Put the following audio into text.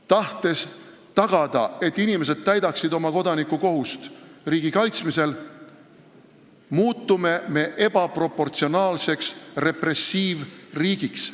Tahtes tagada, et inimesed täidavad oma kodanikukohust riigi kaitsmisel, muutume me ebaproportsionaalseks repressiivriigiks.